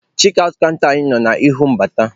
Chekị aụt kanta anyị nọ n'ihu mbata.